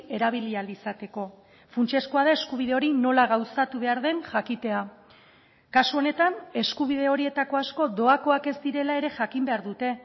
erabili ahal izateko funtsezkoa da eskubide hori nola gauzatu behar den jakitea kasu honetan eskubide horietako asko doakoak ez direla ere jakin behar dute